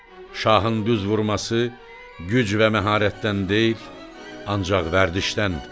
Şahın düz vurması güc və məharətdən deyil, ancaq vərdişdən.